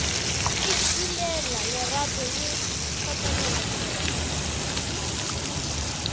ikilela lerato le kgotlelo koma